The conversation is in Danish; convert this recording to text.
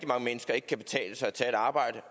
mange mennesker ikke kan betale sig at tage et arbejde